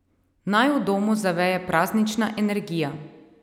Naj v domu zaveje praznična energija.